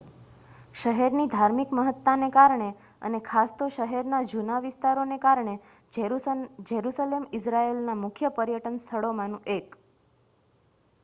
શહેરની ધાર્મિક મહત્તાને કારણે અને ખાસ તો શહેરના જુના વિસ્તારોને કારણે જેરુસલેમ ઇઝરાઇલના મુખ્ય પર્યટન સ્થળોમાનું 1